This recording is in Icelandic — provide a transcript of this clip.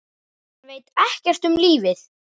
Hann veit ekkert um lífið.